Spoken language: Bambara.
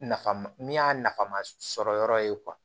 Nafa ma min y'a nafa masɔrɔyɔrɔ ye